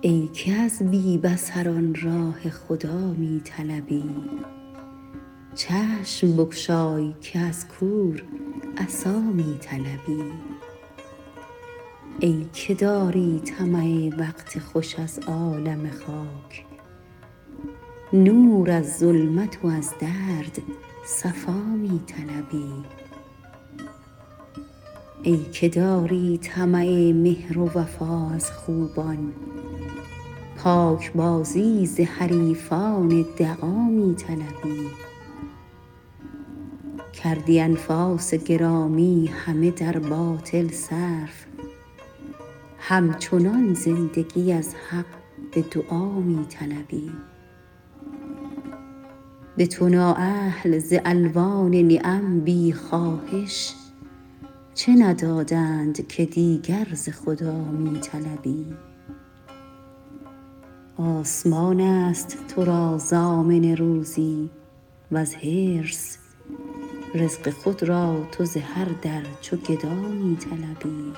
ای که از بی بصران راه خدا می طلبی چشم بگشای که از کور عصا می طلبی ای که داری طمع وقت خوش از عالم خاک نور از ظلمت و از درد صفا می طلبی ای که داری طمع مهر و وفا از خوبان پاکبازی ز حریفان دغا می طلبی کردی انفاس گرامی همه در باطل صرف همچنان زندگی از حق به دعا می طلبی به تو نااهل ز الوان نعم بی خواهش چه ندادند که دیگر ز خدا می طلبی آسمان است ترا ضامن روزی وز حرص رزق خود را تو ز هر در چو گدا می طلبی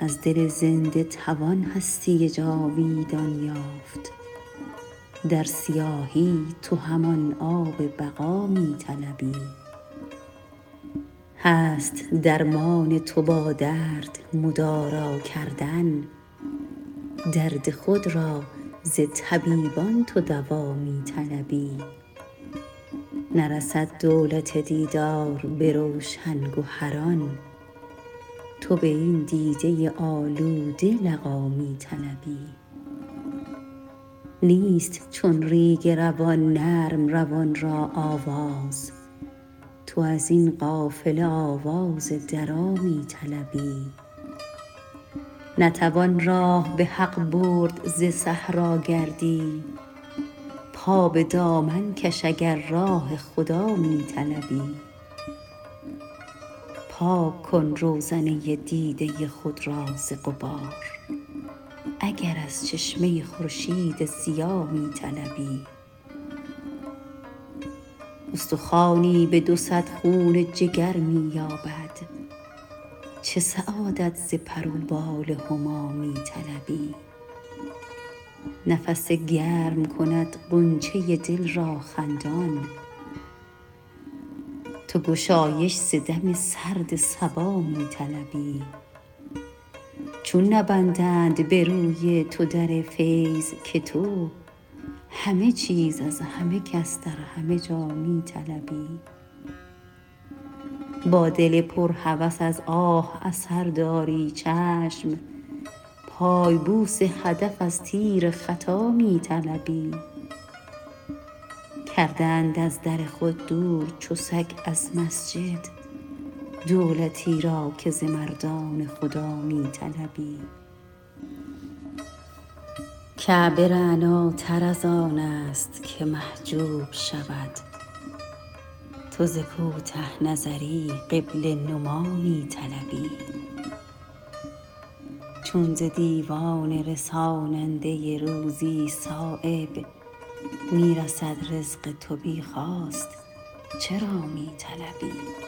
از دل زنده توان هستی جاویدان یافت در سیاهی تو همان آب بقا می طلبی هست درمان تو با درد مدارا کردن درد خود را ز طبیبان تو دوا می طلبی نرسد دولت دیدار به روشن گهران تو به این دیده آلوده لقا می طلبی نیست چون ریگ روان نرم روان را آواز تو ازین قافله آواز درا می طلبی نتوان راه به حق برد ز صحراگردی پا به دامن کش اگر راه خدا می طلبی پاک کن روزنه دیده خود را ز غبار اگر از چشمه خورشید ضیا می طلبی استخوانی به دوصد خون جگر می یابد چه سعادت ز پر و بال هما می طلبی نفس گرم کند غنچه دل را خندان تو گشایش ز دم سرد صبا می طلبی چون نبندند به روی تو در فیض که تو همه چیز از همه کس در همه جا می طلبی با دل پر هوس از آه اثر داری چشم پای بوس هدف از تیر خطا می طلبی کرده اند از در خود دور چو سگ از مسجد دولتی را که ز مردان خدا می طلبی کعبه رعناتر ازان است که محجوب شود تو ز کوته نظری قبله نما می طلبی چون ز دیوان رساننده روزی صایب می رسد رزق تو بی خواست چرا می طلبی